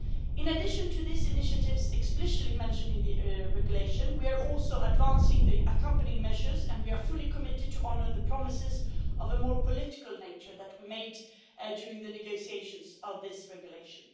In addition to the initiatives explicitly mentioned in the regulation, we are also advancing the accompanying measures, and we are fully committed to honour the promises of a more political nature that we made during the negotiations on this regulation.